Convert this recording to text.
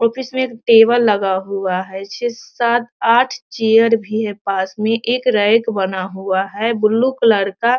office में एक table लगा हुआ है | छे सात आठ चेयर भी है पास में | एक रेक बना हुआ है ब्लू कलर का |